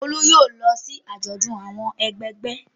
Olú yóò lọ sí àjọ̀dún àwọn ẹgbẹgbẹ́.